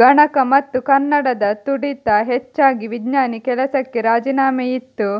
ಗಣಕ ಮತ್ತು ಕನ್ನಡದ ತುಡಿತ ಹೆಚ್ಚಾಗಿ ವಿಜ್ಞಾನಿ ಕೆಲಸಕ್ಕೆ ರಾಜಿನಾಮೆಯಿತ್ತು